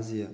азия